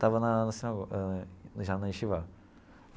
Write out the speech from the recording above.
Estava na na sinagoga já na.